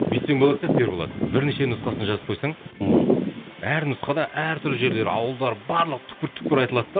бүйтсең болатын сияқты ерболат бірнеше нұсқасын жазып қойсаң мхм әр нұсқада әртүрлі жерлер ауылдар барлығы түкпір түкпір айтылады да